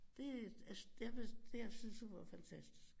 Det altså jeg synes hun var fantastisk